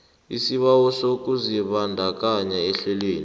isibawo sokuzibandakanya ehlelweni